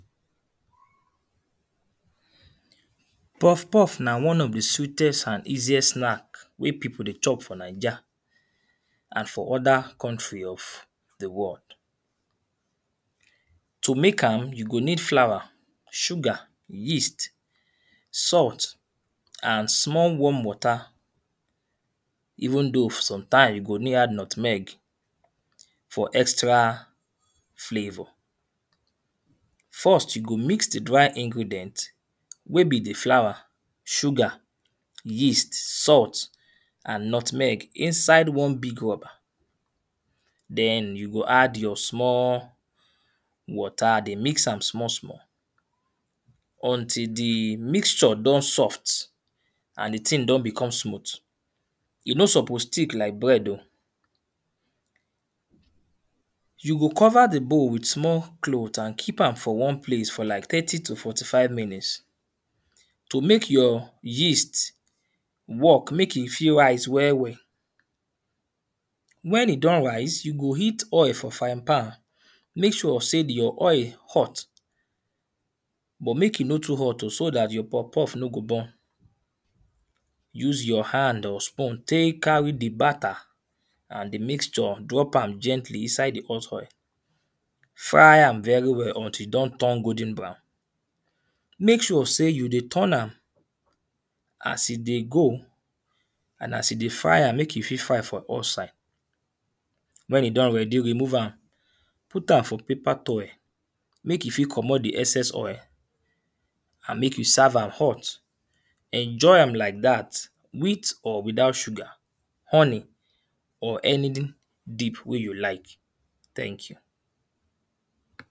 Puffpuff na one of the sweetest and easiest snack wey people dey chop for Naija and for other country of the world. To make am you go need flour, sugar, yeast salt and small warm water. Even though sometime you go need add nutmeg for extra flavour. First you go mix the dry ingredient wey be the flour, sugar, yeast, salt and nutmeg inside one big rubber. Den you go add your small water dey mix am small small until the mixture don soft and the thing don become smooth. E no suppose thick like bread oh. You go cover the bowl with small cloth and keep am for one place for like thirty to forty five minutes to make your yeast work make e fit rise well well. When e don rise, you go heat oil for fry pan. Make sure sey your oil hot but make e no too hot so dat your puffpuff no go burn. Use your hand or spoon take carry the batter and the mixture. Drop am gently inside the hot oil. Fry am very well until e don turn golden brown. Make sure sey you dey turn am as e dey go and as e dey fry am, make e fit fry for all side. When e don ready, remove am put am for paper toil make e fit comot the excess oil and make youn serve am hot. Enjoy am like dat with or without sugar, honey or any[2] deep wey you like. Thank you.